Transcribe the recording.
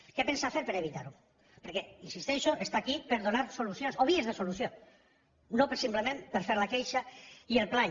què pensa fer per evitar ho perquè hi insisteixo és aquí per donar solucions o vies de solució no per simplement fer la queixa i el plany